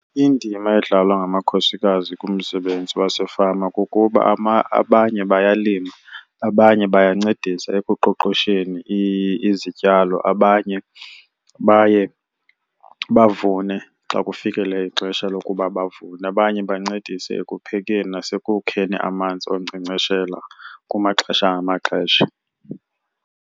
Indima edlalwa ngamakhosikazi kumsebenzi wasefama kukuba abanye bayalima, abanye bayancedisana ekuqoqosheni izityalo, abanye baye bavune xa kufikele ixesha lokuba bavune, abanye bancedise ekuphekeni nasekukheni amanzi okunkcenkceshela kumaxesha ngamaxesha.